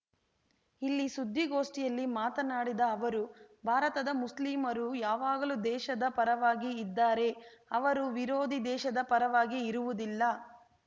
ಇಲ್ಲಿ ಸುದ್ದಿಗೋಷ್ಠಿಯಲ್ಲಿ ಮಾತನಾಡಿದ ಅವರು ಭಾರತದ ಮುಸ್ಲಿಮರು ಯಾವಾಗಲೂ ದೇಶದ ಪರವಾಗಿ ಇದ್ದಾರೆ ಅವರು ವಿರೋಧಿ ದೇಶದ ಪರವಾಗಿ ಇರುವುದಿಲ್ಲ